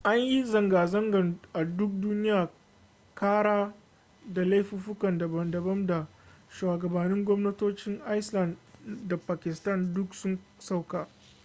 an yi zanga-zanga a duk duniya kara ta laifuka daban-daban da shugabannin gwamnatocin iceland da pakistan duk sun sauka